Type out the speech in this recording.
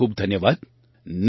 ખૂબ ખૂબ ધન્યવાદ